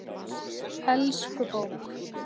Elsku bók!